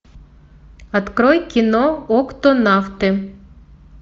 открой кино октонавты